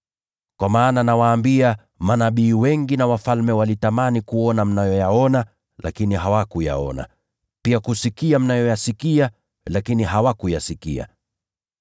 Kwa maana nawaambia, manabii wengi na wafalme walitamani kuona yale mnayoyaona lakini hawakuyaona, na walitamani kusikia yale mnayoyasikia lakini hawakuyasikia.”